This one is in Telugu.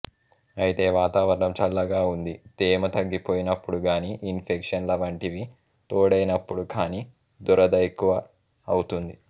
అయితే వాతావరణం చల్లగా ఉంది తేమ తగ్గిపోయినప్పుడుగానీ ఇన్ఫెక్షన్ల వంటివి తోడైనప్పుడుకానీ దురద ఎక్కువ అవుతుంది